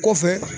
Kɔfɛ